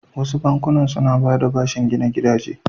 Wasu bankunan su na bayar da bashin gina gidaje.